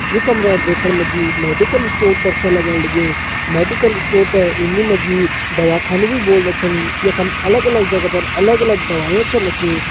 ये कमरा दिखण मा जी मेडिकल स्टोर कर छ लग्यण लग्युं मेडिकल स्टोर थें हिंदी मा जी दवा खानु भी बोल्दा छन यखम अलग अलग जगह पर अलग अलग दवाई छन रखीं।